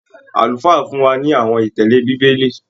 Àlùfáà fún wa ní àwọn ìtẹle bíbélì.